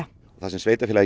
sveitarfélagið